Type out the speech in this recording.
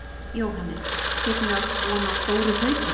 Jóhannes: Getum við átt von á stóru hlaupi?